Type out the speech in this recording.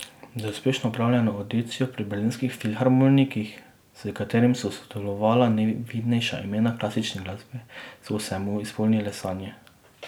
Z uspešno opravljeno avdicijo pri Berlinskih filharmonikih, s katerim so sodelovala najvidnejša imena klasične glasbe, so se mu izpolnile sanje.